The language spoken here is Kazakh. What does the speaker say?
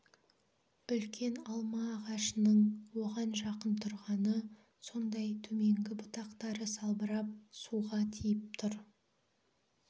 үлкен алма ағашының оған жақын тұрғаны сондай төменгі бұтақтары салбырап суға тиіп тұр